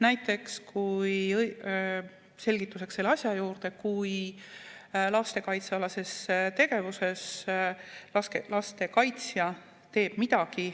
Näiteks, selgituseks selle asja juurde, kui lastekaitsealases tegevuses lastekaitsja jätab tegemata midagi,